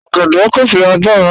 Ọ̀gẹ̀dẹ pẹ̀sẹ̀ agbàrà.